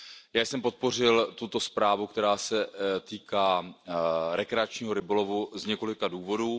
Já jsem podpořil tuto zprávu, která se týká rekreačního rybolovu, z několika důvodů.